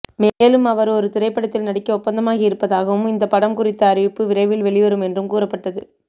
மேலும் அவர் ஒரு திரைப்படத்தில் நடிக்க ஒப்பந்தமாகி இருப்பதாகவும் இந்த படம் குறித்த அறிவிப்பு விரைவில் வெளிவரும் என்றும் கூறப்பட்டது